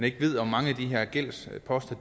ikke ved om mange af de her gældsposter